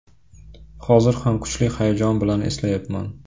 Hozir ham kuchli hayajon bilan eslayapman.